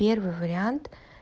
первый вариант